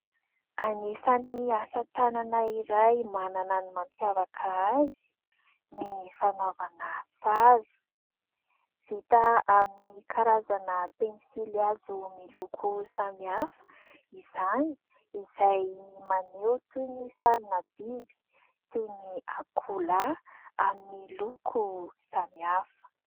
Anisany asa-tànana iray manana ny mampiavaka azy ny fanaovana sary, vita amin'ny karazana pensily hazo miloko samihafa izany izay maneho toy ny sarina biby toy ny akoholahy amin'ny loko samihafa.